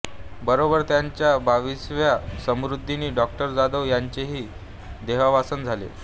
बरोबर त्यांच्या बाविसाव्या स्मृतिदिनी डॉ जाधव यांचेही देहावसान झाले